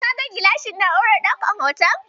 Ka ga gilashin na'urar ɗaukan hoton?